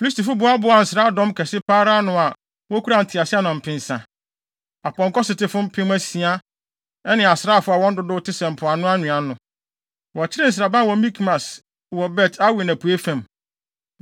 Filistifo boaboaa nsraadɔm kɛse pa ara ano a wokura nteaseɛnam mpensa, apɔnkɔsotefo mpem asia ne asraafo a wɔn dodow te sɛ mpoano nwea ano. Wɔkyeree nsraban wɔ Mikmas wɔ Bet-Awen apuei fam.